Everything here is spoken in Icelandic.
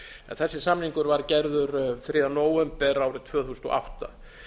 þessi samningur var gerður þriðja nóvember árið tvö þúsund og átta